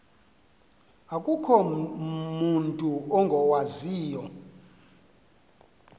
akukho mutu ungawaziyo